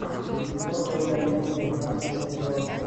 силиконовая долина пятнадцатый сезон